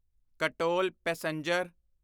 Katol passenger